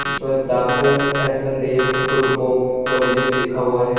इस पर doctor S N Dev group of colleges लिखा हुआ है।